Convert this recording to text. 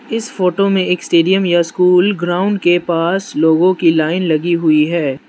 इस फोटो में एक स्टेडियम या स्कूल ग्राउंड के पास लोगों की लाइन लगी हुई है।